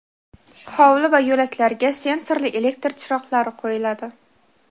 Hovli va yo‘laklarga sensorli elektr chiroqlari qo‘yiladi.